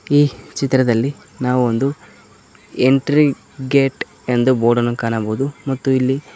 ಈ ಚಿತ್ರದಲ್ಲಿ ನಾವು ಒಂದು ಎಂಟ್ರಿ ಗೇಟ್ ಎಂದು ಬೋರ್ಡ ನ್ನು ಕಾಣಬಹುದು ಮತ್ತು ಇಲ್ಲಿ--